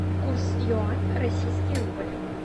курс юань российский рубль